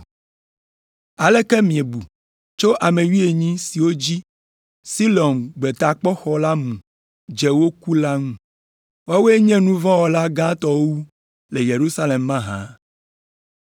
“Aleke miebu tso ame wuienyi siwo dzi Siloam gbetakpɔxɔ la mu dze woku la ŋu? Woawoe nye nu vɔ̃ wɔla gãtɔwo wu le Yerusalem mahã?